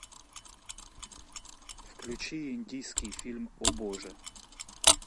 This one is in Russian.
включи индийский фильм о боже